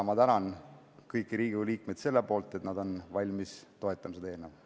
Ma tänan kõiki Riigikogu liikmeid selle eest, et nad on valmis toetama seda eelnõu.